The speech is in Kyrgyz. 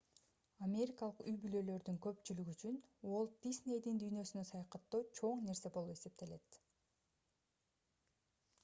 америкалык үй-бүлөлөрдүн көпчүлүгү үчүн уолт диснейдин дүйнөсүнө саякаттоо чоң нерсе болуп эсептелет